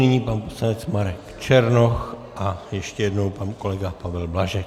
Nyní pan poslanec Marek Černoch a ještě jednou pan kolega Pavel Blažek.